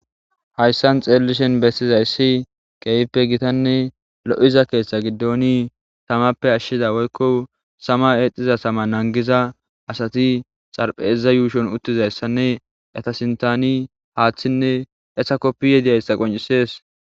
Haysan bessizaysi keehippe lo7izayssanne gita gidida tamappe ashshiza woykko tamappe nangiza asati xarapheza yuushon uttidaysanne eeta sinthan haaththinne koppiyayi dizaysii beettees.